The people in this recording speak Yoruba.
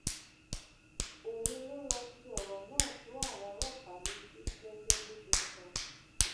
òun ló lọọ fi ọrọ náà tó àwọn ọlọpàá létí gẹgẹ bó ṣe sọ